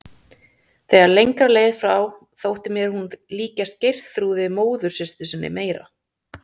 Þegar lengra leið frá þótti mér hún líkjast Geirþrúði móðursystur sinni meira.